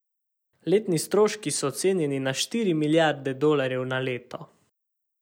Letni stroški so ocenjeni na štiri milijarde dolarjev na leto.